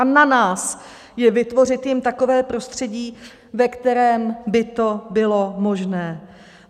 A na nás je vytvořit jim takové prostředí, ve kterém by to bylo možné.